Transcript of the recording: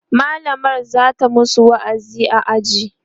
mallamar zata masu wa'azi a aji